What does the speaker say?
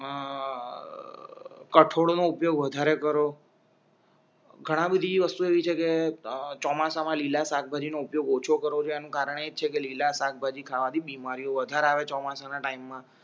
કઠોડનો ઉપયોગ વધારે કરો ઘણા બધી વસ્તુ એવી છે કે અ ચોમાસામાં લીલા શાકભાજીનો ઉપયોગ ઓછો કરો કે આનું કારણ એજ છે કે લીલા શાકભાજી ખાવાથી બીમારીઓ વધારે આવે છે ચોમાસાના ટાઇમ મા